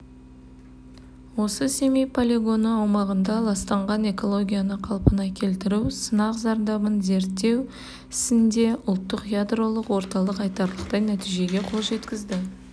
осы семей полигоны аумағындағы ластанған экологияны қалпына келтіру сынақ зардабын зерттеу ісінде ұлттық ядролық орталық айтарлықтай нәтижеге қол жеткізді